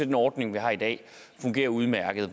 den ordning vi har i dag fungerer udmærket